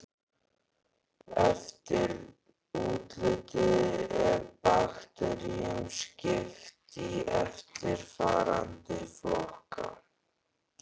Eftir útliti er bakteríum skipt í eftirfarandi flokka